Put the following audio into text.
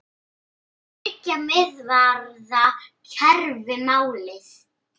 Er þriggja miðvarða kerfi málið?